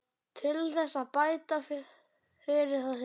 Til þess að bæta fyrir það sjá